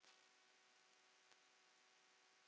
Þá hafa menn það.